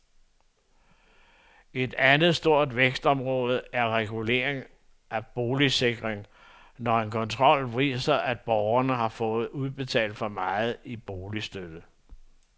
Et andet stort vækstområde er regulering af boligsikring, når en kontrol viser, at borgere har fået udbetalt for meget i boligstøtte.